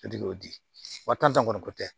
wa tan kɔni ko tɛ